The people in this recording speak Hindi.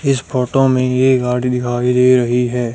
इस फोटो में ये गाड़ी दिखाई दे रही है।